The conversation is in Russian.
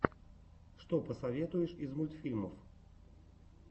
что посоветуешь из мультфильмов